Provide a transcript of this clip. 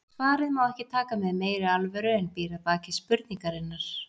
Svarið má ekki taka með meiri alvöru en býr að baki spurningarinnar.